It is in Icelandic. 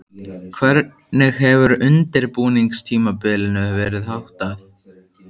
Hvernig hefur undirbúningstímabilinu verið háttað?